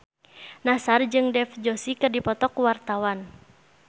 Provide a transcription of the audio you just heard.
Nassar jeung Dev Joshi keur dipoto ku wartawan